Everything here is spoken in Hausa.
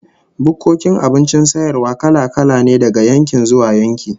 Bukkokin abincin sayarwa kala-kala ne daga yankin zuwa yanki